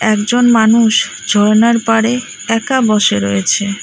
একজন মানুষ ঝর্ণার পারে একা বসে রয়েছে।